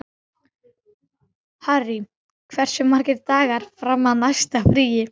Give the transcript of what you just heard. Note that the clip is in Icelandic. Harry, hversu margir dagar fram að næsta fríi?